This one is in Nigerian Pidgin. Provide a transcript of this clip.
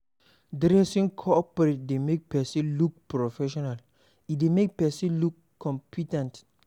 Dressing coperate dey make person look professional, e dey make person look compe ten t